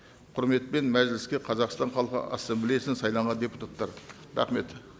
құрметпен мәжіліске қазақстан халқы ассамблеяссынан сайланған депутаттары рахмет